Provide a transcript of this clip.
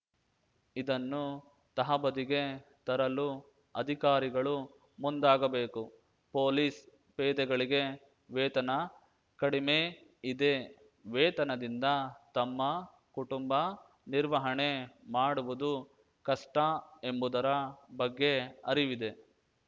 ಇದನ್ನು ತಹಬದಿಗೆ ತರಲು ಅಧಿಕಾರಿಗಳು ಮುಂದಾಗಬೇಕು ಪೊಲೀಸ್‌ ಪೇದೆಗಳಿಗೆ ವೇತನ ಕಡಿಮೆ ಇದೆ ವೇತನದಿಂದ ತಮ್ಮ ಕುಟುಂಬ ನಿರ್ವಹಣೆ ಮಾಡುವುದು ಕಷ್ಟಎಂಬುದರ ಬಗ್ಗೆ ಅರಿವಿದೆ